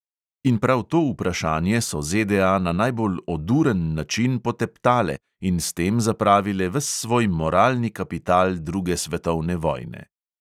In prav to vprašanje so ZDA na najbolj oduren način poteptale in s tem zapravile ves svoj moralni kapital druge svetovne vojne.